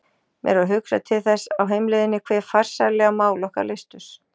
Mér var hugsað til þess á heimleiðinni hve farsællega mál okkar leystust.